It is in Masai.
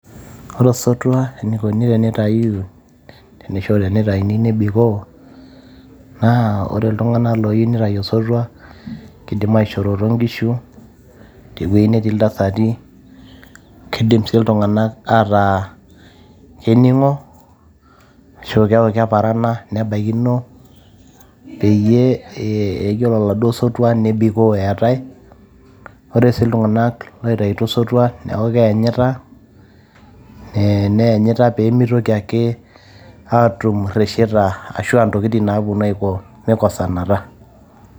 Ore osotua enikoni tenintayuyu , teniko ,tenitayuni nebikoo, naa ore iltunganak loyieu nitayu osotua , kidim aishoroto nkishu , tewuei netii iltasati , kidim sii iltunganak ataa keningo ashu keaku keparana, nebaikino peyie ore oladuo sotwa nebikoo eetae. ore sii iltunganak oitaito osotwa neaku keanyita ee neanyita pemitoki ake atum iresheta ashu ntokitin napuonu aiko mikosanata.